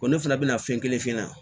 Ko ne fana bɛna fɛn kelen f'i ɲɛna